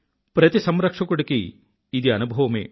ప్రతి సంరక్షకుడికీ ఇది అనుభవమే